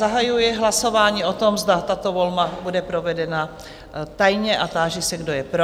Zahajuji hlasování o tom, zda tato volba bude provedena tajně, a táži se, kdo je pro?